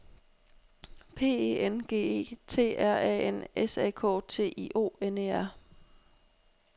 P E N G E T R A N S A K T I O N E R